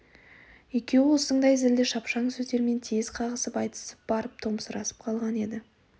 екеуі осыңдай зілді шапшаң сөздермен тез қағысып айтысып барып томсырасып қалған еді